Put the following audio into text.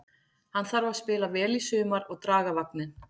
Hann þarf að spila vel í sumar og draga vagninn.